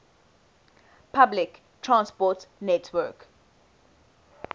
public transport network